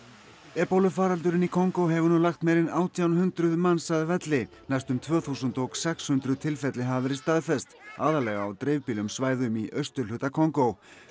ebólufaraldurinn í Kongó hefur nú lagt meira en átján hundruð manns að velli næstum tvö þúsund og sex hundruð tilfelli hafa verið staðfest aðallega á dreifbýlum svæðum í austurhluta Kongó